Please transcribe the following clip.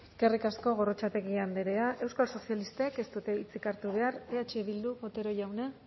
eskerrik asko eskerrik asko gorrotxategi andrea euskal sozialistek ez dute hitzik hartu behar eh bildu otero jauna